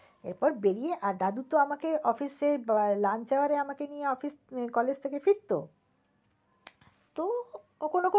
এরপর বেরিয়ে আর দাদু তো আমাকে office এ lunch hour এ আমাকে নিয়ে college থেকে ফিরত। তো কখনো কখনো~